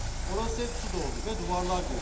Orası hep su doldu və divarlar göçtü.